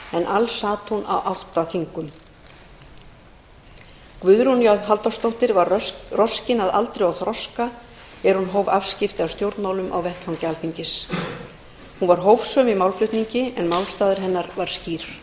alls sat hún á átta þingum guðrún j halldórsdóttir var roskin að aldri og þroska er hún hóf afskipti af stjórnmálum á vettvangi alþingis hún var hófsöm í málflutningi en málstaður hennar var skýr